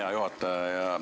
Hea juhataja!